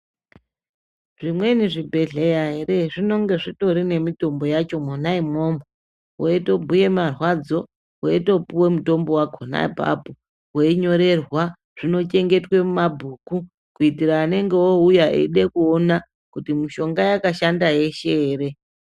Zvimweni zvibhedhlera ere zvinenge zvitorine mitombo yacho mwona imwomwo. Veitombuye marwadzo veito puve mutombo vakona ipapo. Veinyorerwa zvinochengetwa muma bhuku kuitira anenge ouya eida kuona kuti mishonga yakashanda yeshe ere.